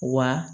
Wa